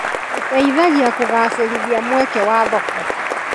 ũteithagia kũgacĩrithia mweke wa thoko.